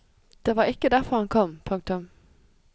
Det var ikke derfor han kom. punktum